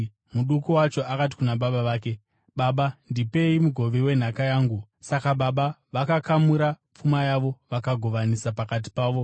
Muduku wacho akati kuna baba vake, ‘Baba, ndipei mugove wenhaka yangu.’ Saka baba vakakamura pfuma yavo vakavagovanisa pakati pavo.